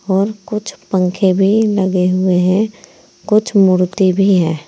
और कुछ पंखे भी लगे हुए हैं कुछ मूर्ति भी है।